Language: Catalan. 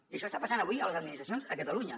i això està passant avui a les administracions a catalunya